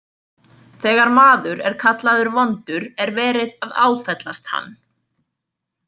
Þegar maður er kallaður vondur er verið að áfellast hann.